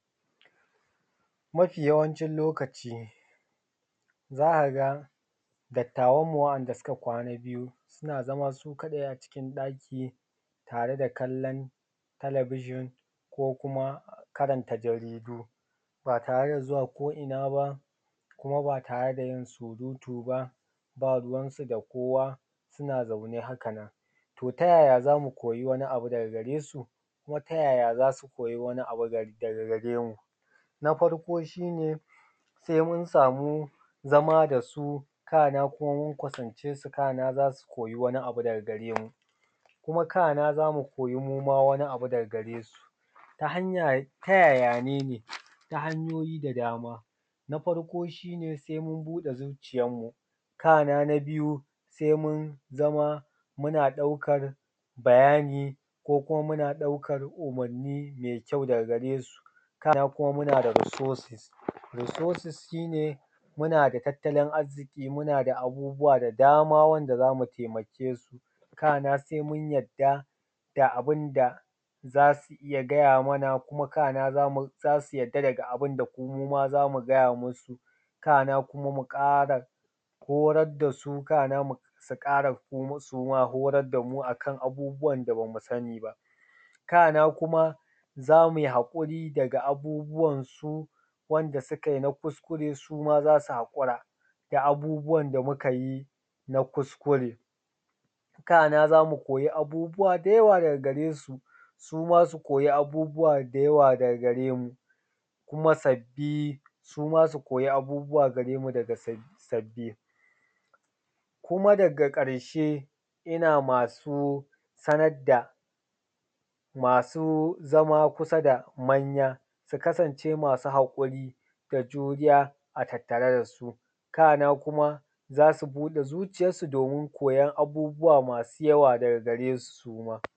Mafi yawancin lokaci za ka ga dattawan mu wa’anda suka kwana biyu suna zama su kaɗai a cikin ɗaki tare da kallon talabijin ko kuma karanta jaridu ba tare da zuwa ko’ina ba, kuma ba tare da yin surutu ba, ba ruwansu da kowa, suna zaune haka nan. To ta yaya za mu koyi wani abu daga garesu? Kuma ta yaya za su koya wani abu daga garemu? Na farko shi ne sai mun samu zama da su kana kuma mun kusancesu, kana za su koyi wani abu daga garemu, kuma kana za mu koyi muma wani abu daga garesu. Ta yaya ne? Ta hanyoyi da dama, na farko shi ne sai mun buɗe zucciyan mu, kana na biyu sai mun zama muna ɗaukan bayani, ko kuma muna ɗaukan umarni mai kyau daga gare su. Kana kuma muna da resources. Resources shi ne muna da tattalin arziki, muna da abubuwa da dama wanda zamu taimake su, kana sai mun yarda da abun da za su iya gaya mana, kuma kana za su yarda da daga abunda muma za mu gaya musu, kana kuma mu ƙara horar da su, kana kuma su ƙara suma horar damu a kan abubuwan da ba mu sani ba, kana kuma zamu yi haƙuri da abubuwansu wanda su ka yi na kuskure, suma za su haƙura da abubuwan da muka yi na kuskure. Kana za mu koyi abubuwa da yawa daga garesu, suma su koyi abubuwa da yawa daga gare mu, kuma sabbi suma su koyi abubuwa gare mu kuma sabbi. Kuma daga ƙarshe ina ma su sanar da ma su zama kusa da manya su kasance masu haƙuri da juriya a tattare da su, kana kuma za su buɗe zuciyan su domin koyan abubuwa masu yawa daga gare su suma.